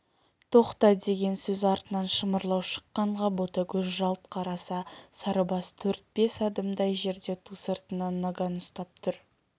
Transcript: тоқта деген сөз артынан шымырлау шыққанға ботагөз жалт қараса сарыбас төрт-бес адымдай жерде ту сыртынан наган ұсынып тұр